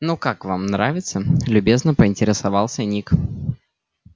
ну как вам нравится любезно поинтересовался ник